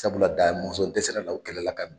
Sabula Damɔn dɛsɛ la o kɛlɛ la ka